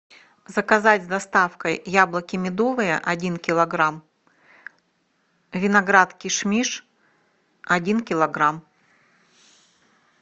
заказать с доставкой яблоки медовые один килограмм виноград кишмиш один килограмм